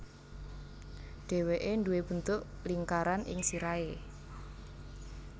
Dhèwèké nduwé bentuk lingkaran ing sirahé